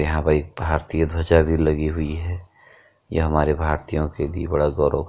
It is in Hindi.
यहाँ पे एक भारतीय ध्वजा भी लगी हुई है। ये हमारे भारतीयों के लिए बड़ा गौरव --